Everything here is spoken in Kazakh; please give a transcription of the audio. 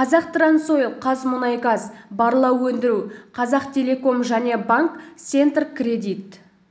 қазтрансойл қазмұнайгаз барлау өндіру қазақтелеком және банк центркредит